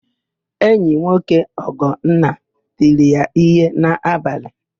Enyinwoke Ugonna tiri ya íhé n'abalị.